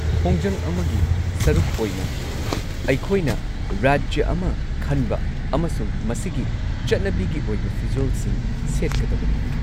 ꯈꯣꯡꯖꯪ ꯑꯃꯒꯤ ꯁꯔꯨꯛ ꯑꯣꯏꯅ, ꯑꯩꯈꯣꯏꯅ ꯔꯥꯖ꯭ꯌ ꯑꯃ ꯈꯟꯕ ꯑꯃꯁꯨꯡ ꯃꯁꯤꯒꯤ ꯆꯠꯅꯕꯤꯒꯤ ꯑꯣꯏꯕ ꯐꯤꯖꯣꯜꯁꯤꯡ ꯁꯦꯠꯀꯗꯕꯅꯤ꯫